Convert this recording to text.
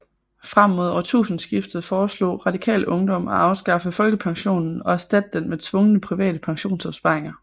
Frem mod årtusindeskiftet foreslog Radikal Ungdom at afskaffe folkepensionen og erstatte den med tvungne private pensionsopsparinger